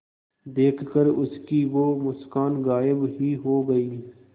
देखकर उसकी वो मुस्कान गायब ही हो गयी